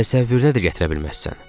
Təsəvvür də gətirə bilməzsən.